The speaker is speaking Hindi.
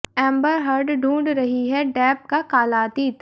एंबर हर्ड ढूंढ रही है डेप का काला अतीत